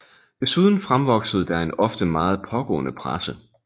Desuden fremvoksede der en ofte meget pågående presse